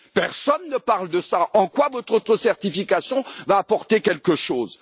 Personne ne parle de cela, en quoi votre auto certification va apporter quelque chose?